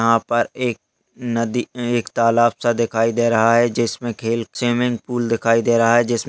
यहाँ पर एक नदी ए एक तालाब सा दिखाई दे रहा है जिसमे खेल स्विमिंगपूल दिखाई दे रहा है। जिस--